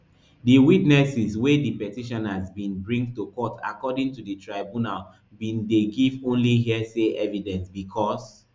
di witnesses wey di petitioners bin bring to court according to di tribunal bin dey give only hearsay evidence bicos